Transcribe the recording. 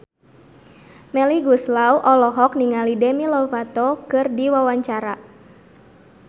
Melly Goeslaw olohok ningali Demi Lovato keur diwawancara